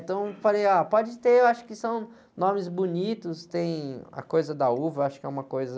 Então, eu falei, ah, pode ter, eu acho que são nomes bonitos, tem a coisa da uva, acho que é uma coisa...